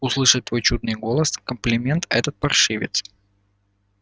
услышать твой чудный голос комплиментит этот паршивец